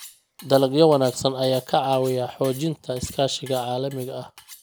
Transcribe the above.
Dalagyo wanaagsan ayaa ka caawiya xoojinta iskaashiga caalamiga ah.